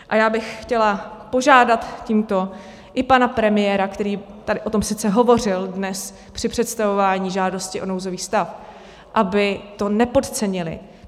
A já bych chtěla požádat tímto i pana premiéra, který tady o tom sice hovořil dnes při představování žádosti o nouzový stav, aby to nepodcenili.